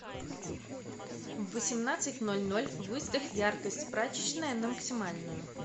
в восемнадцать ноль ноль выставь яркость прачечная на максимальную